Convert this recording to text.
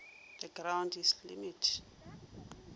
the ground is the limit